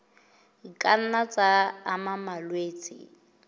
ka nna tsa ama malwetse